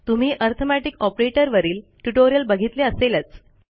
तुम्ही arithmetic operator वरील tutorial बघितले असेलच